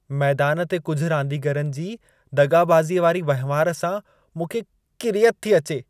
मैदान ते कुझि रांदीगरनि जी दग़ाबाज़ीअ वारी वहिंवार सां मूंखे किरियत थी अचे।